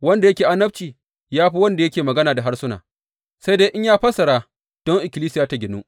Wanda yake annabci ya fi wanda yake magana da harsuna, sai dai in ya fassara don ikkilisiya ta ginu.